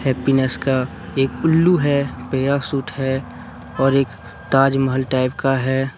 Happiness का एक उल्लू है पैराशूट है और एक ताजमहल टाइप का है।